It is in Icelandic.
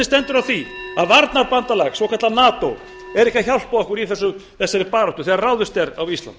stendur á því að varnarbandalag svokallað nato er ekki að hjálpa okkur í þessari baráttu þegar ráðist er á ísland